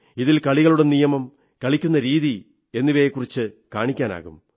ഇതിൽ കളികളുടെ നിയമം കളിക്കുന്ന രീതികൾ എന്നിവയെക്കുറിച്ചു കാണിക്കാം